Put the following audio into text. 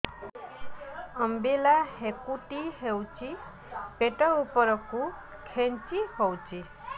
ଅମ୍ବିଳା ହେକୁଟୀ ହେଉଛି ପେଟ ଉପରକୁ ଖେଞ୍ଚି ହଉଚି